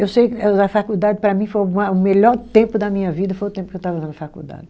Eu sei a faculdade, para mim, foi o melhor tempo da minha vida, foi o tempo que eu estava lá na faculdade.